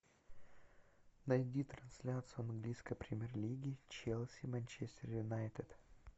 найди трансляцию английской премьер лиги челси манчестер юнайтед